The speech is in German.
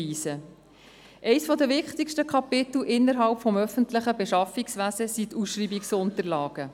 Eines der wichtigsten Kapitel innerhalb des öffentlichen Beschaffungswesens sind die Ausschreibungsunterlagen.